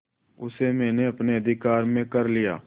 उसे मैंने अपने अधिकार में कर लिया